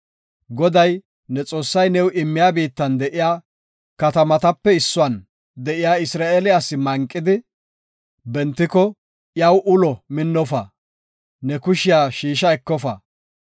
“Goday, ne Xoossay new immiya biittan de7iya katamatape issuwan de7iya Isra7eele asi manqidi bentiko, iyaw ulo minnofa; ne kushiya shiisha ekofa.